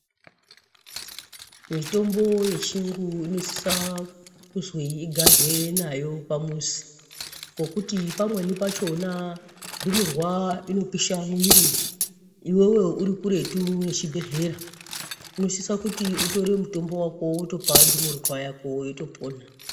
Mitombo yechiyungu inosisa kuzwi igarwe nayo pamuzi. Ngokuti pamweni pachona ndumurwa inopisa mwiri iveve uri kuretu nechibhedhlera. Unosisa kuti utore mutombo vako votopa ndumurwa yako yotopona.